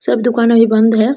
सब दूकान अभी बंद है ।